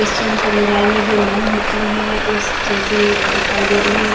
Christian समुदाय में जो नन होती है उस जैसी दिखाई दे रही है--